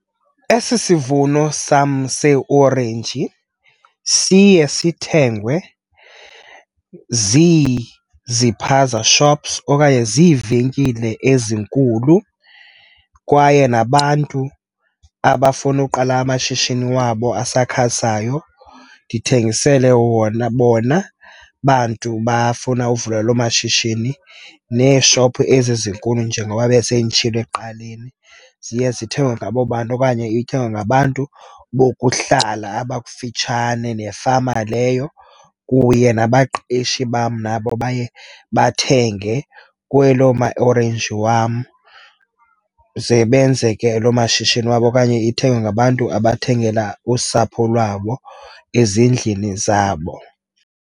Esi sivuno sam seeorenji siye sithengwe ziiziphaza shops okanye ziivenkile ezinkulu kwaye nabantu abafuna uqala amashishini wabo asakhasayo, ndithengisele wona. Bona bantu bafuna uvula loo mashishini neeshopu ezi zinkulu njengoba besenditshilo ekuqaleni, ziye zithengwe ngabo bantu, okanye ithengwe ngabantu bokuhlala abakufitshane nefama leyo kunye nabaqeshi bam nabo baye bathenge kwelo maorenji wam, ze benze ke loo mashishini wabo, okanye ithengwe ngabantu abathengela usapho lwabo ezindlini zabo.